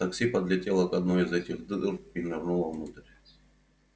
такси подлетело к одной из этих дыр и нырнуло внутрь